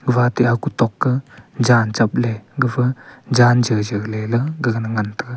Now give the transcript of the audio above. ma te aku tokke jan chapley gapha jan jawjaw lelay gaga na ngan taiga.